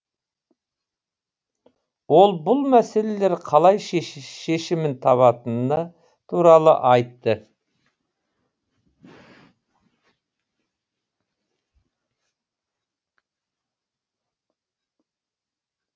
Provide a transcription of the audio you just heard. ол бұл мәселелер қалай шешімін табатыны туралы айтты